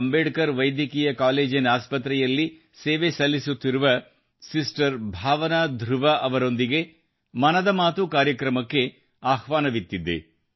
ಅಂಬೇಡ್ಕರ್ ವೈದ್ಯಕೀಯ ಕಾಲೇಜಿನ ಆಸ್ಪತ್ರೆಯಲ್ಲಿ ಸೇವೆ ಸಲ್ಲಿಸುತ್ತಿರುವ ಸಿಸ್ಟರ್ ಭಾವನಾ ಧ್ರುವ ಅವರೊಂದಿಗೆ ಮನದ ಮಾತು ಕಾರ್ಯಕ್ರಮಕ್ಕೆ ಆಹ್ವಾನವಿತ್ತಿದ್ದೆ